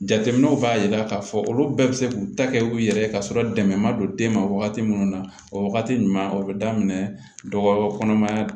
Jateminɛw b'a jira k'a fɔ olu bɛɛ bɛ se k'u ta kɛ u yɛrɛ ye ka sɔrɔ dɛmɛ ma don den ma wagati minnu na o wagati ɲuman o bɛ daminɛ dɔgɔ kɔnɔmaya